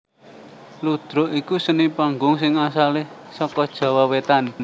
Ludruk iku seni panggung sing asalé saka Jawa Wétan